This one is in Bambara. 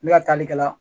Ne ka taali kɛ la